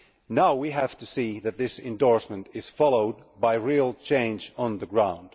Now we have to see that this endorsement is followed by real change on the ground.